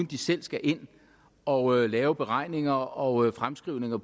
de selv skal ind og lave beregninger og fremskrivninger